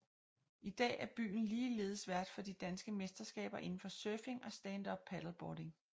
I dag er byen ligeledes vært for de danske mesterskaber inden for surfing og standup paddleboarding